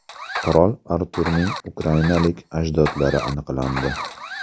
Qirol Arturning ukrainalik ajdodlari aniqlandi.